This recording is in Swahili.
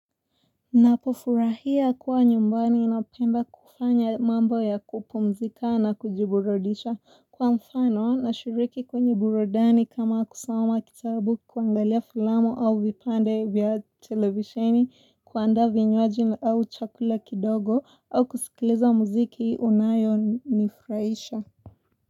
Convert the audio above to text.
Napofurahia kuwa nyumbani napenda kufanya mambo ya kupumzika na kujiburudisha kwa mfano nashiriki kwenye burudani kama kusoma kitabu, kuangalia filamu au vipande vya televisheni kuandaa vinywaji au chakula kidogo au kusikiliza muziki unayo nifurahisha.